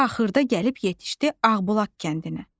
Axırda gəlib yetişdi Ağbulaq kəndinə.